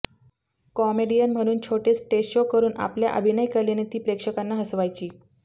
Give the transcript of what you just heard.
comedian म्हणून छोटे stage show करून आपल्या अभिनयकलेने ती प्रेक्षकांना हसवायची